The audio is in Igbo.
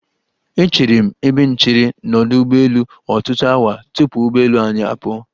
Echeere m ebe nchere n'ọdụ ụgbọelu ọtutụ awa tupu ụgbọelu anyi apụọ.